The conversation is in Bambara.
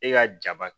E ka jaba